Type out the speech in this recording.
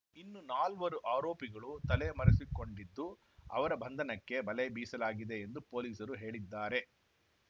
ಇನ್ನು ನಾಲ್ವರು ಆರೋಪಿಗಳು ತಲೆಮರೆಸಿಕೊಂಡಿದ್ದು ಅವರ ಬಂಧನಕ್ಕೆ ಬಲೆ ಬೀಸಲಾಗಿದೆ ಎಂದು ಪೊಲೀಸರು ಹೇಳಿದ್ದಾರೆ